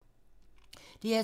DR2